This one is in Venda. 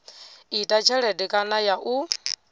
ita tshelede kana ya u